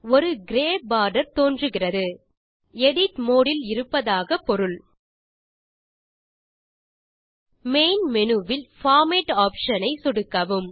ஒரு grey border தோன்றுகிறது edit mode இல் இருப்ப்பதாக பொருள் மெயின் மேனு இல் பார்மேட் ஆப்ஷன் ஐ சொடுக்கவும்